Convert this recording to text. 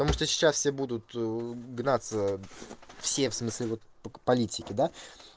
потому что сейчас все будут гнаться все в смысле вот политики да